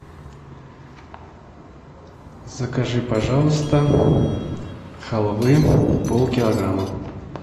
закажи пожалуйста халвы полкилограмма